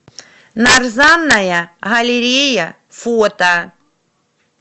нарзанная галерея фото